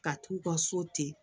Ka t'u ka so ten